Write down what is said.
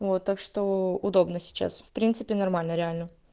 вот так что удобно сейчас в принципе нормально реально